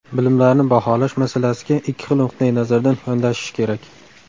Bilimlarni baholash masalasiga ikki xil nuqtai nazardan yondashish kerak.